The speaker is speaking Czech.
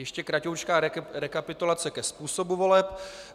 Ještě kraťoučká rekapitulace ke způsobu voleb.